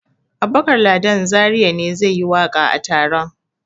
Abubakar Ladan Zariya ne zai yi waƙa a taron.